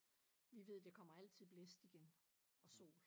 Vi ved der kommer altid blæst igen og sol